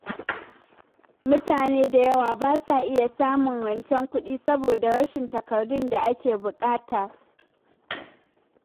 Mutane da yawa ba sa iya samun rancen kuɗi saboda rashin takardun da ake buƙata.